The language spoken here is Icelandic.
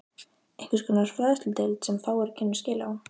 Einhvers konar fræðsludeild, sem fáir kynnu skil á.